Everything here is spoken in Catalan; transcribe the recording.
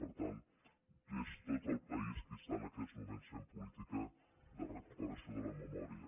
per tant és tot el país qui està en aquests moments fent política de recuperació de la memòria